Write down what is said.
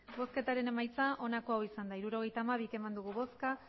hirurogeita hamabi eman dugu bozka